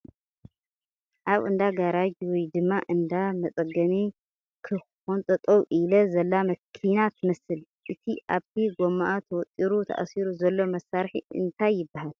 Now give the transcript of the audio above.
ኣብ እንዳ ጋራጅ ወይ ድማ እንዳ መፀገኒ ከኻኺን ጠጠው ኢላ ዘላ መኪና ትመስል ፡ እቲ ኣብቲ ጎማኣ ተወጢሩ ተኣሲሩ ዘሎ መሳርሒ እንታይ ይበሃል ?